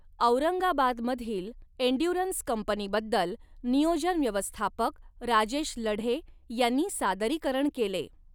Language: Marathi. औरंगाबादमधील एन्ड्युरन्स कंपनीबद्दल नियोजन व्यवस्थापक राजेश लढे यांनी सादरीकरण केले.